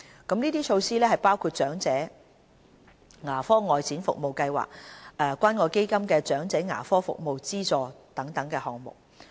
這些措施包括長者牙科外展服務計劃及關愛基金"長者牙科服務資助"等項目。